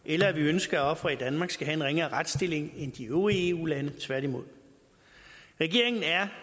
eller at vi ønsker at ofre i danmark skal have en ringere retsstilling end de øvrige eu lande tværtimod regeringen er